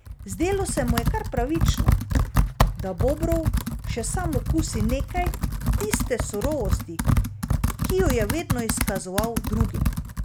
Zdelo se mu je kar pravično, da Bobrov še sam okusi nekaj tiste surovosti, ki jo je vedno izkazoval drugim.